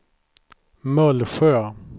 Mullsjö